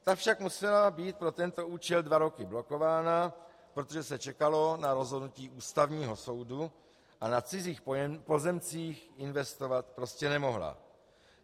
Ta však musela být pro tento účel dva roky blokována, protože se čekalo na rozhodnutí Ústavního soudu a na cizích pozemcích investovat prostě nemohla.